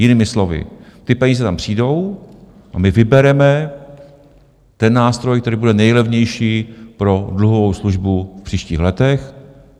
Jinými slovy, ty peníze tam přijdou a my vybereme ten nástroj, který bude nejlevnější pro dluhovou službu v příštích letech.